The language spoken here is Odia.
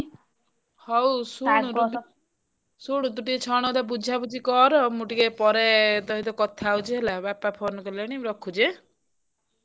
ହଉ ଶୁଣ ତୁ ଟିକେ ଛଣ ଟା ବୁଝା ବୁଝି କର ମୁଁ ଟିକେ ପରେ ତୋ ସହିତ କଥା ହଉଛି ହେଲା ବାପା ଫୋନ କଲେଣି ମୁଁ ରଖିଚି ଆଁ।